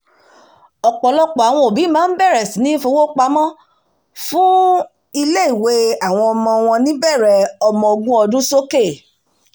ọ̀pọ̀lọpọ̀ àwọn òbí máa ń bẹ̀rẹ̀ sí ní fowó-pamọ́fún ẹ̀kọ́ ilé-ìwé àwọn ọmọ wọn níbẹ̀rẹ̀ ọmọ ogún ọdún sókè